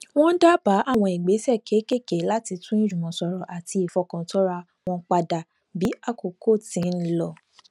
wón dábàá àwọn ìgbésè kéékèèké láti tún ìjùmọsòrò àti ìfọkàntánra wọn padà bí àkókò ti ń lọ